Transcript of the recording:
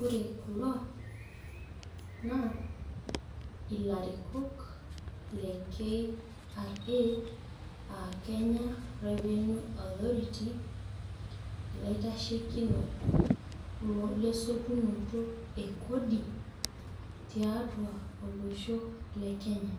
Ore kulo naa ilarikok le KRA aa Kenya revenue authority ilaitashekinok lessotunoto e Kodi tiatua olosho le kenya.